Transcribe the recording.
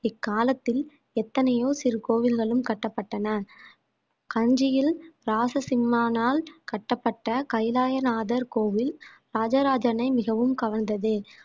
இக்காலத்தில் எத்தனையோ சிறு கோவில்களும் கட்டப்பட்டன கஞ்சியில் ராசசிம்மானால் கட்டப்பட்ட கைலாயநாதர் கோவில் ராஜராஜனை மிகவும் கவர்ந்தது